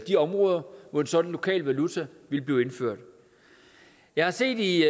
de områder hvor en sådan lokal valuta ville blive indført jeg har set i